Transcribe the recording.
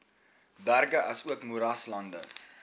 berge asook moeraslande